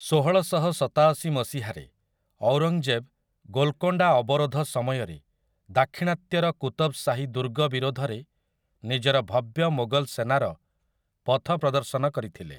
ଷୋହଳଶହସତାଅଶି ମସିହାରେ ଔରଙ୍ଗଜେବ୍ ଗୋଲକୋଣ୍ଡା ଅବରୋଧ ସମୟରେ ଦାକ୍ଷିଣାତ୍ୟର କୁତବ୍‌ଗାହି ଦୁର୍ଗ ବିରୋଧରେ ନିଜର ଭବ୍ୟ ମୋଗଲ୍‌ ସେନାର ପଥପ୍ରଦର୍ଶନ କରିଥିଲେ ।